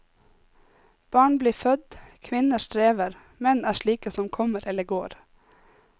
Barn blir født, kvinner strever, menn er slike som kommer eller går.